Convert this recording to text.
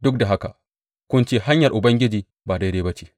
Duk da haka kun ce, Hanyar Ubangiji ba daidai ba ce.’